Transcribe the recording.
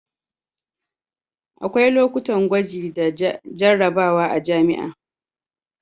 akwai lokutan gwaji da jarrabawa a jami'a